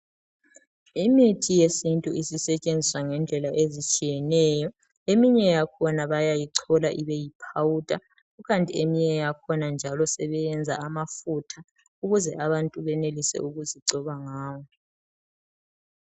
Imithi yesintu isisetshenziswa ngendlela ezitshiyeneyo eminye yakhona bayayichola ibe yi powder kukanti eyinye njalo sebeyenza ibe ngamafutha ukuze abantu benelise ukuzigcoba ngawo.